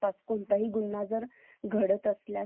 घडत असल्यास CCTV camera हे